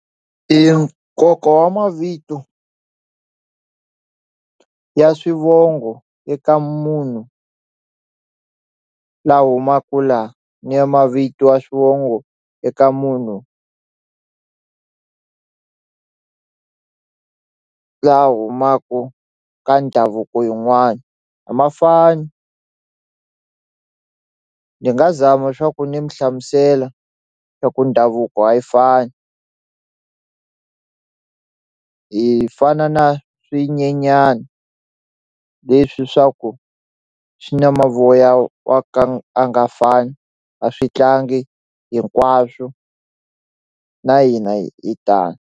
Nkoka wa mavito ya swivongo eka munhu la humaku la ni mavito ya swivongo eka munhu la humaku ka ndhavuko yin'wani a ma fani ni nga zama swa ku ni mi hlamusela swa ku ndhavuko a yi fani hi fana na swinyenyani leswi swa ku swi na mavoya wa ka a nga fani a swi tlangi hinkwaswo na hina hi tano.